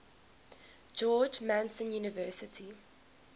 george mason university